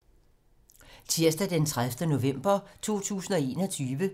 Tirsdag d. 30. november 2021